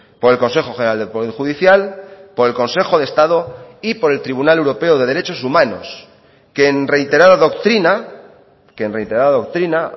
por el consejo general del poder judicial por el consejo de estado y por el tribunal europeo de derechos humanos que en reiterada doctrina que en reiterada doctrina